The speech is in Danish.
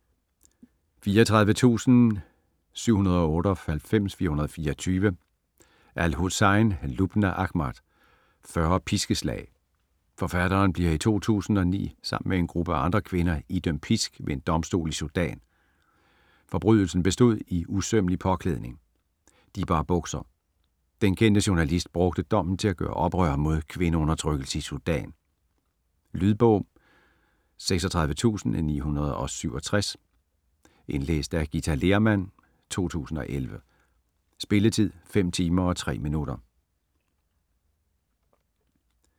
34.798424 al-Hussein, Lubna Ahmad: 40 piskeslag Forfatteren bliver i 2009 sammen med en gruppe af andre kvinder idømt pisk ved en domstol i Sudan. Forbrydelsen bestod i usømmelig påklædning. De bar bukser. Den kendte journalist brugte dommen til at gøre oprør mod kvindeundertrykkelse i Sudan. Lydbog 36967 Indlæst af Githa Lehrmann, 2011. Spilletid: 5 timer, 3 minutter.